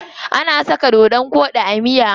Ana saka dodon koɗi a miya.